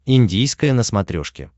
индийское на смотрешке